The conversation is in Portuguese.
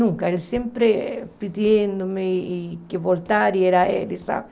Nunca, ele sempre pedindo-me que voltasse, e era ele, sabe?